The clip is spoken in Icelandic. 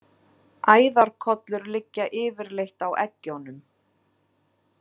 Æðarkollur liggja yfirleitt á eggjunum.